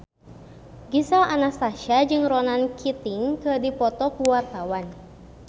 Gisel Anastasia jeung Ronan Keating keur dipoto ku wartawan